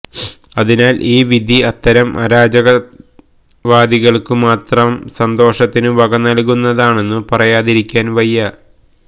അതിനാല് ഈ വിധി അത്തരം അരാജകവാദികള്ക്കു മാത്രം സന്തോഷത്തിനു വകനല്കുന്നതാണെന്നു പറയാതിരിക്കാന് വയ്യ